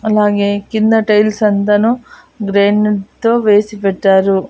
అలాగే కింద టైల్స్ అంతను గ్రైనేట్ తో వేసి పెట్టారు.